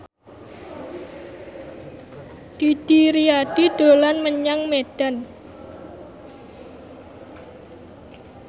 Didi Riyadi dolan menyang Medan